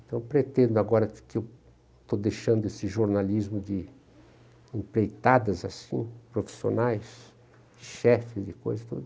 Então, pretendo agora que estou deixando esse jornalismo de empreitadas assim, profissionais, chefes de coisas, tudo.